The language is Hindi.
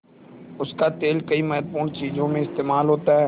उसका तेल कई महत्वपूर्ण चीज़ों में इस्तेमाल होता है